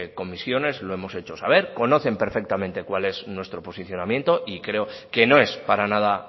comisiones lo hemos hecho saber conocen perfectamente cuál es nuestro posicionamiento y creo que no es para nada